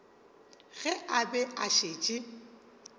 ge a be a šetše